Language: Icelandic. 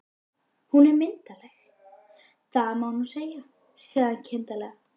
Hún er myndarleg, það má nú segja, sagði hann kindarlega.